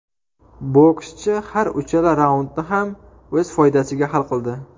Bokschi har uchala raundni ham o‘z foydasiga hal qildi.